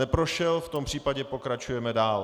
Neprošel, v tom případě pokračujeme dál.